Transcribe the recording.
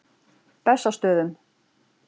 Bessastöðum